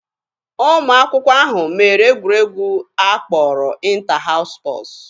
Ụmụ akwụkwọ ahụ mere egwuregwu a kpọrọ 'ịnta haụs spọtz'